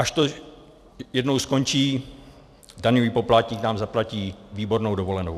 Až to jednou skončí, daňový poplatník nám zaplatí výbornou dovolenou.